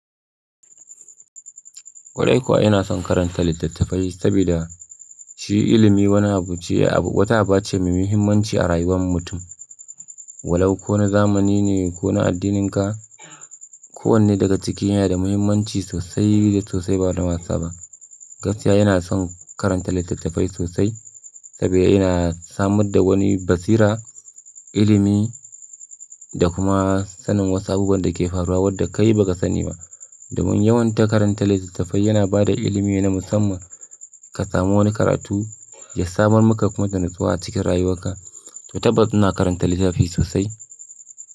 Kwarai kuwa ina son karanta litattafai sabida shi ilimi wani abu ce, abu wata aba ce mai muhimmanci a rayuwar mutum. Walau kona zamani ne, kona addininka, kowanne daga ciki yana da muhimmanci sosai da sosai ba da wasa ba. Gaskiya ina son karanta litattafai sosai saboda yana samar da wani basira, ilimi da kuma sanin wasu abubuwan da ke faruwa wadda kai ba ka sani ba. Domin yawan ta karanta litattafai yana ba da ilimi na musamman ka samu wani karatu ya samar maka kuma da natsuwa cikin rayuwarka. To tabbas ina karanta littafi sosai.